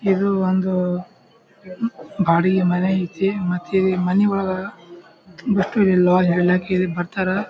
ಇದು ಒಂದು ಬಾಡಿಗೆ ಮನೆ ಐತಿ ಮತ್ತ್ ಈ ಮನಿಯೊಳಗ್ ಬತ್ತುರಿಲ್ಲಾ ಎಲ್ಲಾ ಕೇರಿ ಬರ್ತರ್.